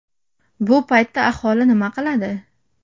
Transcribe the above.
Bu paytda aholi nima qiladi?